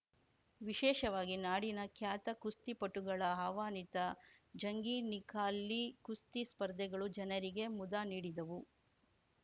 ವಿಶೇಷವಾಗಿ ನಾಡಿನ ಖ್ಯಾತ ಕುಸ್ತಿಪಟುಗಳ ಆಹ್ವಾನಿತ ಜಂಗೀ ನಿಖಾಲಿ ಕುಸ್ತಿ ಸ್ಪರ್ಧೆಗಳು ಜನರಿಗೆ ಮುದ ನೀಡಿದವು